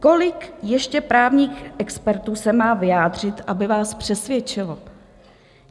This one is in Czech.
Kolik ještě právních expertů se má vyjádřit, aby vás přesvědčilo?